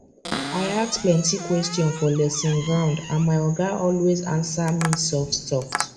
i ask plenty question for lesson ground and my oga always answer me softsoft